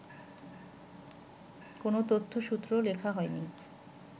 কোনো তথ্যসূত্র লেখা হয়নি